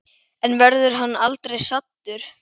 En verður hann aldrei saddur?